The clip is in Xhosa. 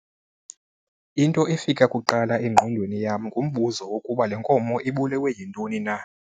Into efika kuqala engqondweni yam ngumbuzo wokuba le nkomo ibulewe yintoni na.